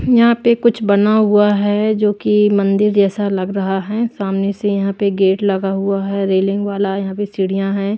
यहां पे कुछ बना हुआ है जो कि मंदिर जैसा लग रहा है सामने से यहां पे गेट लगा हुआ है रेलिंग वाला यहां पे सीढ़ियां हैं।